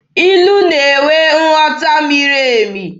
Ilu na-enwe nghọta miri emi.